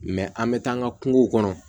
an bɛ taa an ka kungow kɔnɔ